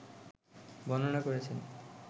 বর্ণনা করেছেন